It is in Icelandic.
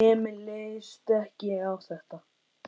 Emil leist ekki á þetta.